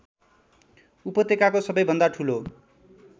उपत्यकाको सबैभन्दा ठुलो